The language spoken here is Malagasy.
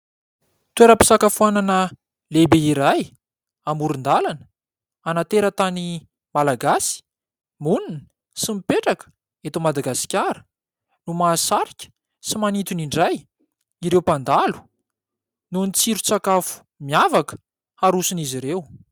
Toeram-pisakafoanana lehibe iray amoron-dalana, ana-teratany malagasy monina sy mipetraka eto Madagasikara, no mahasarika sy manintona indray ireo mpandalo nohon'ny tsiro-tsakafo miavaka arosin'izy ireo.